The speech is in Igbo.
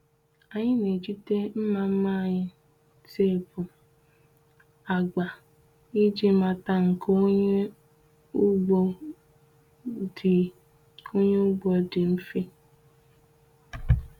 Anyị na-ejide mma mma anyị teepu agba iji mata nke onye ugbo dị onye ugbo dị mfe.